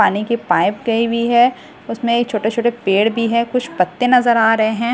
पानी की पाइप गई हुई है उसमें छोटे-छोटे पेड़ भी है कुछ पत्ते नजर आ रहे हैं।